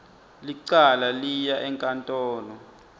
licala liya enkantolo